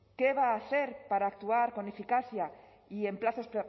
qué va a hacer para actuar con eficacia y en plazos